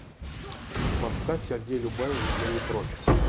поставь сергей любавин я не прочь